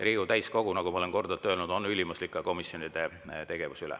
Riigikogu täiskogu, nagu ma olen korduvalt öelnud, on ülimuslik ka komisjonide tegevuse üle.